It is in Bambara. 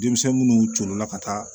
Denmisɛn minnu colo la ka taa